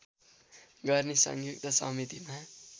गर्ने संयुक्त समितिमा